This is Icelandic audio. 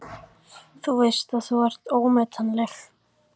Þú veist að þú ert ómetanleg.